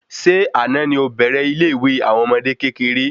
Ṣé àná ni ọ bèrè ile ìwé àwọn ọmọdé kékeré?